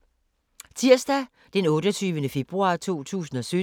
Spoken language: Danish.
Tirsdag d. 28. februar 2017